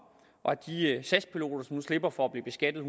og de sas piloter som nu slipper for at blive beskattet